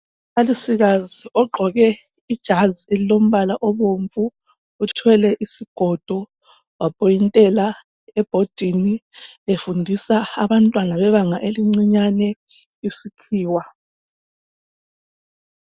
Umbalisikazi ogqoke ijazi elilombala obomvu uthwele isigodo wakhombela ebhodini efundisa abantwana bebanga elincinyane isikhiwa.